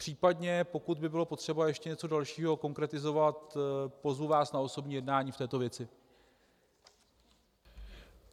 Případně pokud by bylo potřeba ještě něco dalšího konkretizovat, pozvu vás na osobní jednání v této věci.